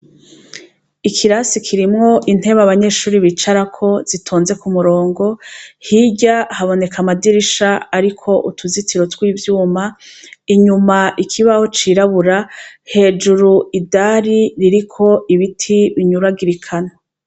Ikirasi kirimwo intebe abanyeshure bicarako zitonze k'umurongo, kiriko amadirisha ariko tuzitiro tw'ivyuma, inyuma ikibaho cirabura, hejuru idari ririko ibiti binyuragirikana.